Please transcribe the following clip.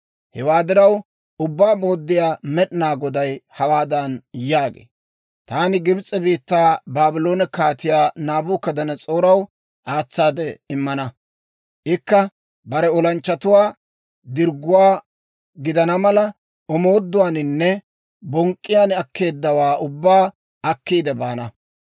Hewaa diraw, Ubbaa Mooddiyaa Med'inaa Goday hawaadan yaagee; ‹Taani Gibs'e biittaa Baabloone Kaatiyaa Naabukadanas'ooraw aatsaade immana; ikka bare olanchchatuwaa dirgguwaa gidana mala, omooduwaaninne bonk'k'iyaan akkeeddawaa ubbaa akkiide baana.